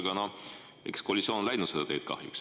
No kahjuks koalitsioon on läinud seda teed.